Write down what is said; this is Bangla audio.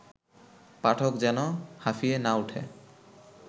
পাঠক যেন হাঁফিয়ে না ওঠে